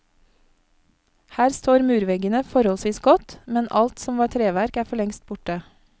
Her står murveggene forholdsvis godt, men alt som var treverk er forlengst borte.